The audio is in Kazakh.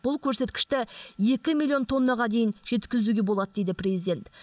бұл көрсеткішті екі миллион тоннаға дейін жеткізуге болады дейді президент